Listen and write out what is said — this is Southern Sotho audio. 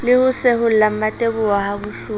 le ho seholla mmateboho habohloko